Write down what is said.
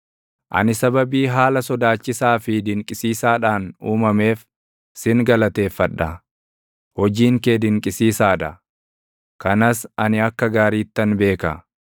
Ani sababii haala sodaachisaa fi dinqisiisaadhaan uumameef sin galateeffadha; hojiin kee dinqisiisaa dha; kanas ani akka gaariittan beeka.